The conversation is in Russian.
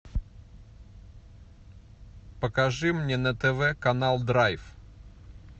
покажи мне на тв канал драйв